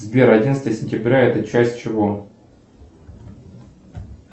сбер одиннадцатое сентября это часть чего